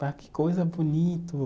Que coisa bonito.